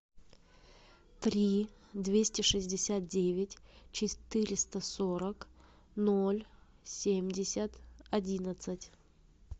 три двести шестьдесят девять четыреста сорок ноль семьдесят одиннадцать